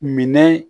Minɛ